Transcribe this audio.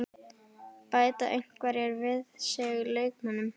Bæta einhverjir við sig leikmönnum?